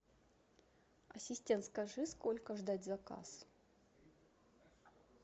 ассистент скажи сколько ждать заказ